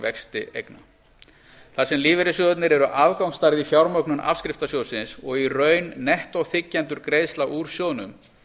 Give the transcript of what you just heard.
vexti eigna þar sem lífeyrissjóðirnir eru afgangsstærð í fjármögnun afskriftasjóðsins og í raun nettó þiggjendur greiðslna úr sjóðnum